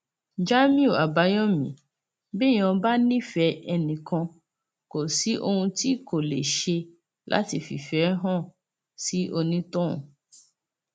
jamiu àbáyọmí béèyàn bá nífẹẹ ẹnìkan kò sí ohun tí kò lè ṣe láti fi ìfẹ hàn sí onítọhún